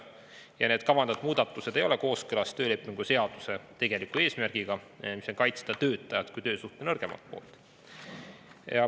Ja need kavandatud muudatused ei ole kooskõlas töölepingu seaduse tegeliku eesmärgiga, mis on kaitsta töötajat kui töösuhte nõrgemat poolt.